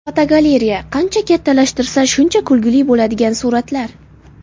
Fotogalereya: Qancha kattalashtirsa, shuncha kulgili bo‘ladigan suratlar.